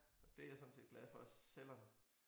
Og det jeg sådan set glad for selvom